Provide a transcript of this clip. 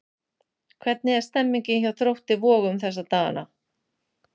Hvernig er stemmningin hjá Þrótti Vogum þessa dagana?